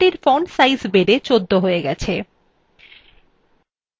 লেখাটির font size বেড়ে ১৪ হয়ে গেছে